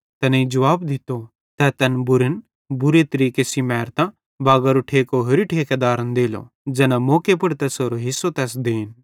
तैनेईं जुवाब दित्तो तै तैन बुरन बुरे तरीके सेइं मैरतां बागरो ठेको होरि ठेकेदारन देलो ज़ैना मौके पुड़ तैसेरो हिस्सो तैस देन